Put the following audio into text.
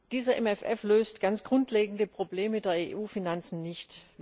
Dieser MFF löst ganz grundlegende Probleme der EU Finanzen nicht.